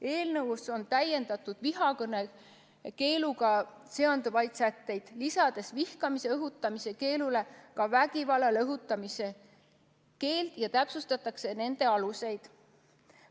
Eelnõus on täiendatud vihakõnekeeluga seonduvaid sätteid, lisades vihkamise õhutamise keelule ka vägivallale õhutamise keelu ja täpsustades nende aluseid.